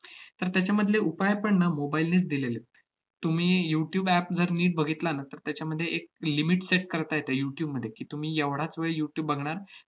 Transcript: तर त्याच्यामधले उपाय पण ना mobile नेच दिलेले आहेत. तुम्ही youtube app जर नीट बघितला ना, तर त्याच्यामध्ये एक limit set करता येते youtube मध्ये की, तुम्ही एवढाच वेळ youtube बघणार